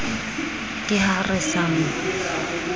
ke ha re sa mo